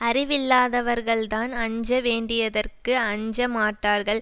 அறிவில்லாதவர்கள்தான் அஞ்ச வேண்டியதற்கு அஞ்ச மாட்டார்கள்